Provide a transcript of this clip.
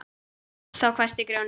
Þá hvæsti Grjóni: